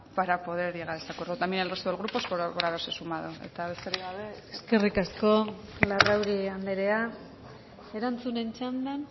para poder llegar a este acuerdo también al resto de grupos por haberse sumado eta besterik gabe eskerrik asko eskerrik asko larrauri andrea erantzunen txandan